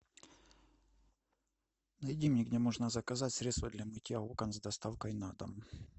найди мне где можно заказать средство для мытья окон с доставкой на дом